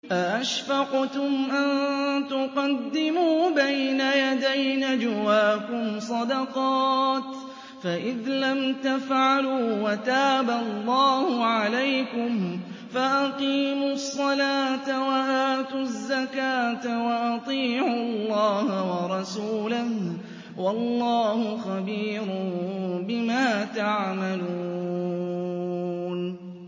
أَأَشْفَقْتُمْ أَن تُقَدِّمُوا بَيْنَ يَدَيْ نَجْوَاكُمْ صَدَقَاتٍ ۚ فَإِذْ لَمْ تَفْعَلُوا وَتَابَ اللَّهُ عَلَيْكُمْ فَأَقِيمُوا الصَّلَاةَ وَآتُوا الزَّكَاةَ وَأَطِيعُوا اللَّهَ وَرَسُولَهُ ۚ وَاللَّهُ خَبِيرٌ بِمَا تَعْمَلُونَ